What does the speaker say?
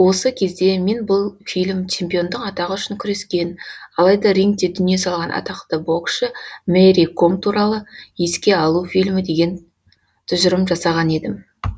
осы кезде мен бұл фильм чемпиондық атағы үшін күрескен алайда рингте дүние салған атақты боксшы мэри ком туралы еске алу фильмі деген тұжырым жасаған едім